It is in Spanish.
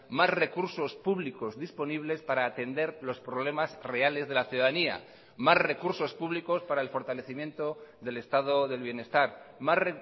más recursos públicos disponibles para atender los problemas reales de la ciudadanía más recursos públicos para el fortalecimiento del estado del bienestar más